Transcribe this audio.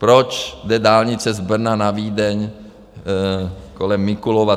Proč jde dálnice z Brna na Vídeň kolem Mikulova?